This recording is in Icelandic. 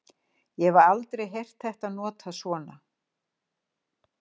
Ég hef aldrei heyrt þetta notað svona.